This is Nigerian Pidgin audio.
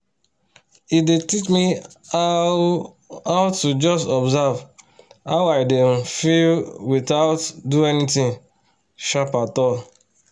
e don teach me how how to just observe how i dey um feel without do anything sharp at all